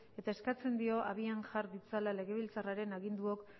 eta eskatzen dio abian jar ditzala legebiltzarraren aginduok